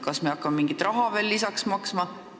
Kas me hakkame mingit raha veel lisaks maksma?